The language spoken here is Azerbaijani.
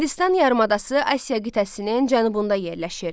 Hindistan yarımadası Asiya qitəsinin cənubunda yerləşir.